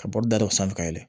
Ka bɔ da dɔ sanfɛ ka yɛlɛ